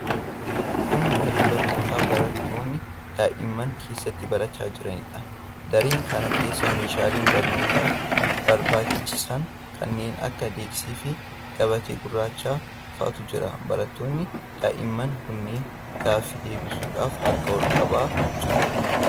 Kun daree barnootaa barattoonni daa'imman keessatti barachaa jiraniidha. Daree kana keessa meeshaalee barnootaaf barbaachisan kanneen akka deeskii fi gabatee gurraacha faatu jira. Barattoonni daa'imman kunneen gaaffii deebisuudhaaf harka ol qabaa jiru.